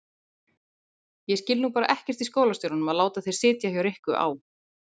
Ég skil nú bara ekkert í skólastjóranum að láta þig sitja hjá Rikku á